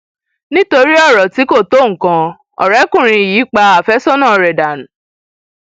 nítorí ọrọ tí kò tó nǹkan ọrẹkùnrin yìí pa àfẹsọnà rẹ dànù